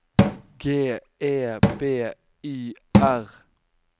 G E B Y R